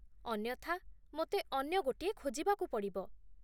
ଅନ୍ୟଥା, ମୋତେ ଅନ୍ୟ ଗୋଟିଏ ଖୋଜିବାକୁ ପଡ଼ିବ।